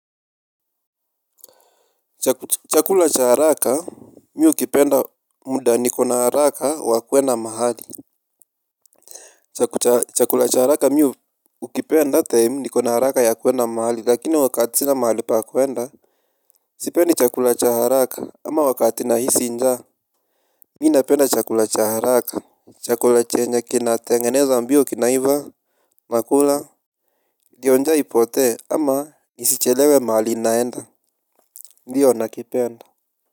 Chakula cha haraka mi hukipenda muda niko na haraka wa kuenda mahali. Chakula cha haraka mi hukipenda timr niko na haraka ya kuenda mahali lakini wakati sina mahali pa kuenda. Sipendi chakula cha haraka ama wakati nahisi nja. Mi napenda chakula cha haraka, chakula chenye kinatengenezwa mbio kina iva. Nakula ndio nja ipote ama nisichelewe mahali naenda. Ndiyo nakipenda.